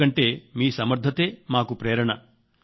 ఎందుకంటే మీ సమర్థతే మాకు ప్రేరణ